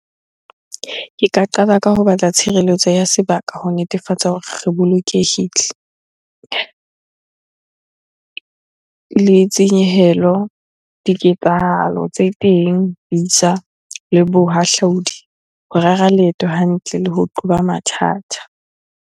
Ke ka qala ka ho batla tshireletso ya sebaka ho netefatsa hore re bolokehile. Le tshenyehelo, diketsahalo tse teng le bohahlaudi. Ho rera leeto hantle le ho qoba mathata.